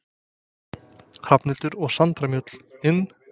Hrafnhildur og Sandra Mjöll: Inn?